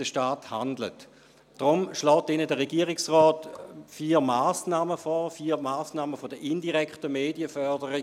Deshalb schlägt Ihnen der Regierungsrat vier Massnahmen vor, vier Massnahmen der indirekten Medienförderung.